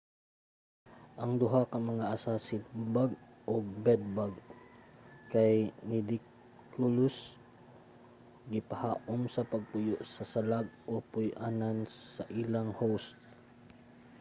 ang duha ka mga assassin-bug ug bed-bug kay nidicolous gipahaum sa pagpuyo sa salag o puy-anan sa ilang host